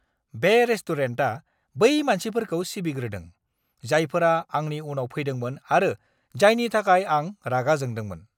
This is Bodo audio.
बे रेस्टुरेन्टा बै मानसिफोरखौ सिबिग्रोदों, जायफोरा आंनि उनाव फैदोंमोन आरो जायनि थाखाय आं रागा जोंदोंमोन!